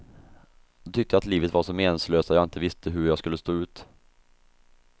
Då tyckte jag att livet var så meningslöst att jag inte visste hur jag skulle stå ut.